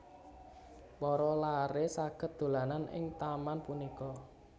Para laré saged dolanan ing taman punika